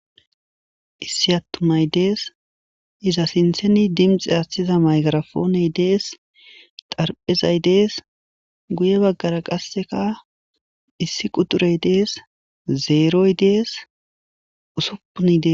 Issi atumay Des iza sinthan dinixe athiza maygirapone Des,xaraphezay Des,guye bagara qasekka issi kuxirey Des,zeroy Des, ussupun Des .